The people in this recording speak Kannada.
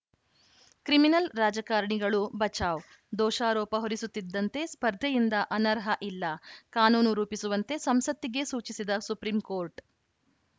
ಕ್ರಿಮಿನಲ್‌ ರಾಜಕಾರಣಿಗಳು ಬಚಾವ್‌ ದೋಷಾರೋಪ ಹೊರಿಸುತ್ತಿದ್ದಂತೆ ಸ್ಪರ್ಧೆಯಿಂದ ಅನರ್ಹ ಇಲ್ಲ ಕಾನೂನು ರೂಪಿಸುವಂತೆ ಸಂಸತ್ತಿಗೇ ಸೂಚಿಸಿದ ಸುಪ್ರೀಂಕೋರ್ಟ್‌